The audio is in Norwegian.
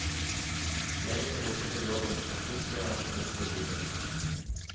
Gjengen roter til jobben, og plutselig er alt snudd på hodet.